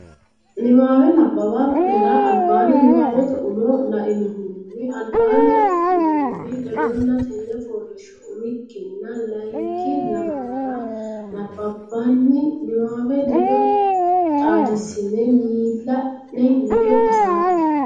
Niwaawe nabbawa nera albaanni niwaawete umo lainohunni albaanni affinoonniri ledonna tenne fooliishsho umikkinna layinki lamalara nabbabbini niwaawe ledo xaadissine miilla ne ledo hasaabbe.